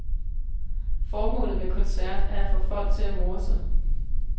Formålet med koncert er at få folk til at more sig.